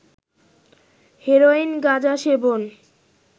heroin, গাঁজা সেবন